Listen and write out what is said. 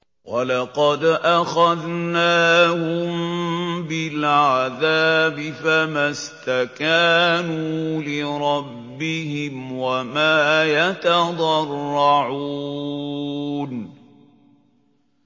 وَلَقَدْ أَخَذْنَاهُم بِالْعَذَابِ فَمَا اسْتَكَانُوا لِرَبِّهِمْ وَمَا يَتَضَرَّعُونَ